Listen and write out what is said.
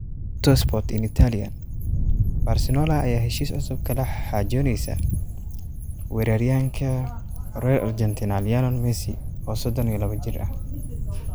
(Tuttosport – in Italian) Barcelona ayaa heshiis cusub kala xaajoonaysa weeraryahanka reer Argentina Lionel Messi, oo 32 jir ah.